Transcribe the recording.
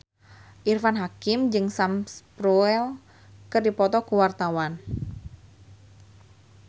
Irfan Hakim jeung Sam Spruell keur dipoto ku wartawan